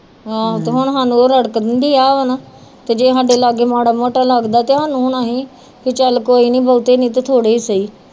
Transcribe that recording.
ਜੇ ਸਾਡੇ ਲਾਗੇ ਮਾੜਾ ਮੋਟਾ ਲੱਗਦਾ ਚੱਲ ਕੋਈ ਨੀ ਵੋਹਤੇ ਨੀ ਤਾ ਥੋੜੇ ਹੀ ਸਹੀ